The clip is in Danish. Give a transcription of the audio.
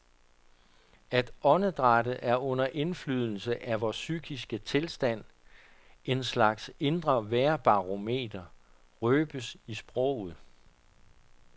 At åndedrættet er under indflydelse af vores psykiske tilstand, en slags indre vejrbarometer, røbes i sproget.